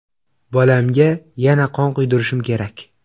Bolamga yana qon quydirishim kerak.